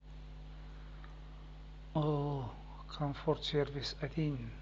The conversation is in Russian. ооо комфорт сервис один